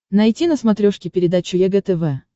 найти на смотрешке передачу егэ тв